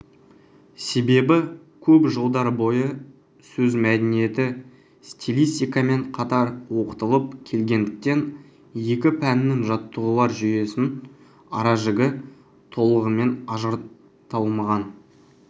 себебі көп жылдар бойы сөз мәдениеті стилистикамен қатар оқытылып келгендіктен екі пәннің жаттығулар жүйесінің аражігі толығымен ажыратылмаған